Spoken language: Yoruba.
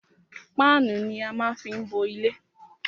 Páánù ni á má fí ń bo ilé.